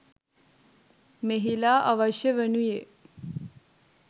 මෙහිලා අවශ්‍ය වනුයේ